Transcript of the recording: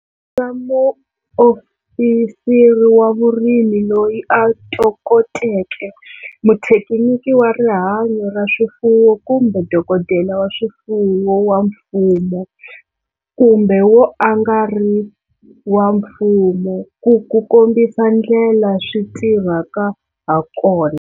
Vutisa muofisiri wa vurimi loyi a tokoteke, muthekiniki wa rihanyo ra swifuwo kumbe dokodela wa swifuwo wa mfumo kumbe wo a nga ri wa mfumo ku ku kombisa ndlela swi tirhaka ha kona.